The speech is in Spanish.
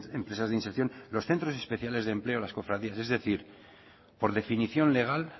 empresas de inserción los centros especiales de empleo las cofradías es decir por definición legal